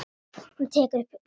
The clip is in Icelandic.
Hún tekur upp reipið.